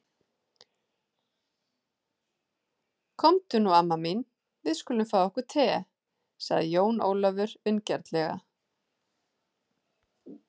Komdu nú amma mín, við skulum fá okkur te, sagði Jón Ólafur vingjarnlega.